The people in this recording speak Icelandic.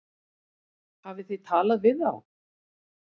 Hafið þið talað við þá?